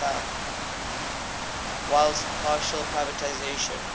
whilst partial privatisation